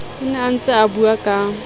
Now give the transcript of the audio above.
a ne a ntseabua ka